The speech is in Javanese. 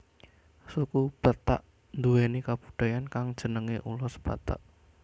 Suku Batak nduwèni kabudayaan kang jenengé ulos Batak